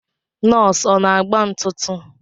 Nọsi ọ na-agba ntụtụ?